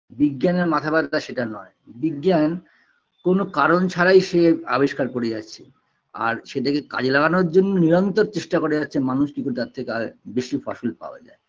বিজ্ঞানের মাথা ব্যথা সেটা নয় বিজ্ঞান কোনো কারণ ছাড়াই সে আবিষ্কার করে যাচ্ছে আর সেটাকে কাজে লাগানোর জন্য নিরন্তর চেষ্টা করে যাচ্ছে মানুষ কি করে তার থেকে আর বেশি ফসল পাওয়া যায়